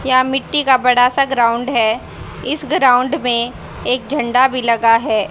यह मिट्टी का बड़ा सा ग्राउंड है इस ग्राउंड में एक झंडा भी लगा है।